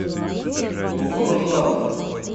бугуруслана